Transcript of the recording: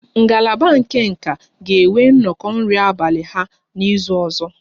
Ngalaba nka ga-enwe nnọkọ nri abalị ha n'izu ọzọ